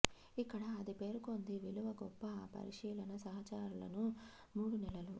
ఇక్కడ అది పేర్కొంది విలువ గొప్ప ఆ పరిశీలన సహచరులను మూడు నెలలు